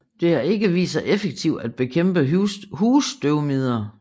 Det har ikke vist sig effektivt at bekæmpe husstøvmider